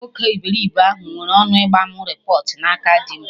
Nwoke iberibe ahụ nwere ọnụ ịgba mụ repọt na aka dim